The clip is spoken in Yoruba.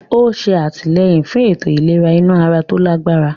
Ó ń ṣe àtìlẹ́yìn fún ètò ìlera inú ara tó lágbára.